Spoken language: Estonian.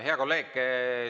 Hea kolleeg!